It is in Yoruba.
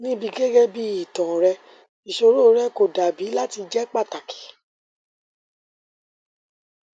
nibi gẹgẹbi itan rẹ iṣoro rẹ ko dabi lati jẹ pataki